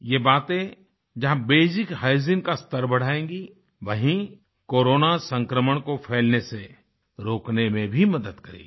ये बातें जहाँ बेसिक हाइजीन का स्तर बढ़ाएंगी वहीं कोरोना संक्रमण को फैलने से रोकने में भी मदद करेगी